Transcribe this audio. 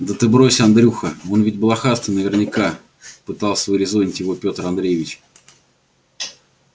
да брось ты андрюха он ведь блохастый наверняка пытался урезонить его пётр андреевич